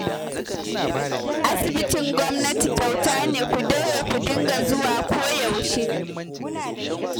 Asibitin gwamnati kyauta ne, ku daure ku dinga zuwa koyaushe